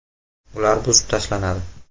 Ular buzib tashlanadi.